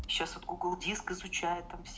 сейчас вот гугл диск изучают там все